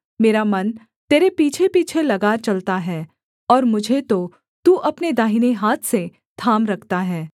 मेरा मन तेरे पीछेपीछे लगा चलता है और मुझे तो तू अपने दाहिने हाथ से थाम रखता है